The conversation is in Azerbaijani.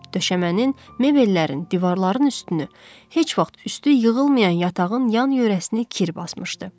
Döşəmənin, mebellərin, divarların üstünü, heç vaxt üstü yığılmayan yatağın yan yörəsini kir basmışdı.